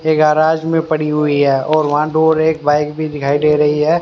ये गैरेज में पड़ी हुई है और वहां दुर एक बाइक भी दिखाई दे रही हैं।